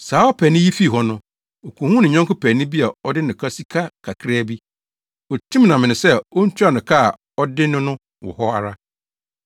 “Saa ɔpaani yi fii hɔ no, okohuu ne yɔnko paani bi a ɔde no ka sika kakraa bi. Otim no amene sɛ ontua no ka a ɔde no no wɔ hɔ ara.